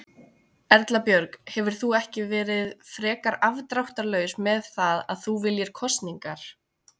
Erla Björg: Hefur þú ekki verið frekar afdráttarlaus með það að þú viljir kosningar?